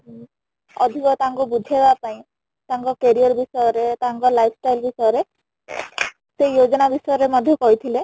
ଅଧିକ ତାଙ୍କୁ ବୁଝେଇବା ପାଇଁ ତାଙ୍କ career ବିଷୟ ରେ , ତାଙ୍କ lifestyle ବିଷୟ ରେ ସେଇ Lang: ForeignLang: Foreign ବିଷୟ ରେ ମଧ୍ୟ କହି ଥିଲେ